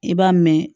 I b'a mɛn